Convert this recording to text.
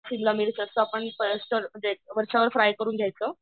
शिमला मिर्चचा पण पेस्ट वरच्यावर फ्राय करून घ्यायचं